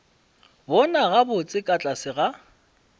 bona gabotse ka tlase ga